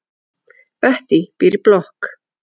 Bettý býr í blokk.